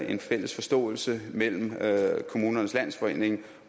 en fælles forståelse mellem kommunernes landsforening